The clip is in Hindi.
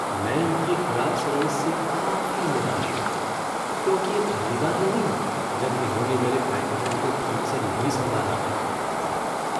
मैं इनकी ख़राब सर्विस से काफ़ी निराश हूँ क्योंकि यह पहली बार नहीं है जब इन्होंने मेरे पैकजों को ठीक से नहीं संभाला है।